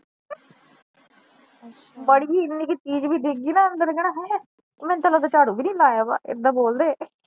ਮਾੜੀ ਜੀ ਇਨੀ ਕਾ ਚੀਜ਼ ਵੀ ਡਿਗ ਗਈ ਨਾ ਅੰਦਰ ਓਹਨਾ ਨੇ ਕਹਿਣਾ, ਹੈਂ ਮੈਨੂੰ ਤ ਲਗਦਾ ਚਾਰੂ ਵੀ ਨਹੀਂ ਲਾਇਆ ਹੋਇਆ ਏਦਾਂ ਬੋਲਦੇ ਏ